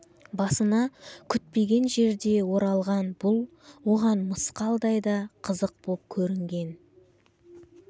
басына күтпеген жерде оралған бұл оған мысқалдай да қызық боп көрінбеген